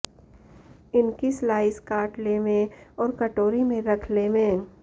इनकी स्लाइस काट लेंवे और कटोरी में रख लेंवे